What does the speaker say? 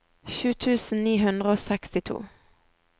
sju tusen ni hundre og sekstito